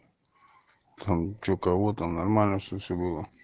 там что у кого-то нормально все было